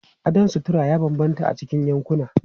Salon sutura ya bambanta a cikin yankuna.